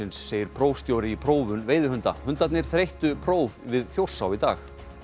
segir prófstjóri í prófun veiðihunda hundarnir þreyttu próf við Þjórsá í dag